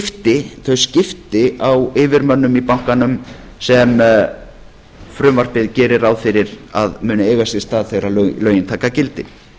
þau skipti á yfirmönnum í bankanum sem frumvarpið gerir ráð fyrir að muni eiga sér stað þegar lögin taka gildi